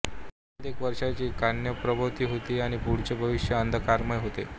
सोबत एक वर्षाची कन्याप्रभाहोती आणि पुढचे भविष्य अंधकारमय होते